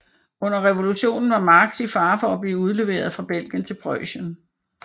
Under revolutionen var Marx i fare for at blive udleveret fra Belgien til Preussen